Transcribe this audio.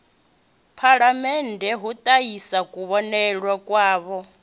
phalamennde u ṱahisa kuvhonele kwavho